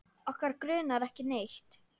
Okkur grunar ekki neitt.